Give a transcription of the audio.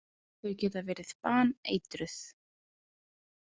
Þau geta verið baneitruð.